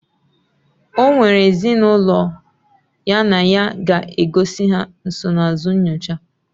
Okwere ezi na ulo ya na ya ga egozi ha nsonaazụ nyocha